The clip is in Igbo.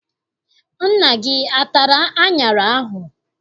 Nna gị atara aṅara ahụ?